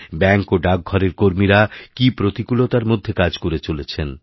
bank ও ডাকঘরের কর্মীরা কি প্রতিকূলতার মধ্যে কাজ করে চলেছেন